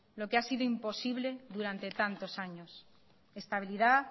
lo que ha sido imposible durante tantos años estabilidad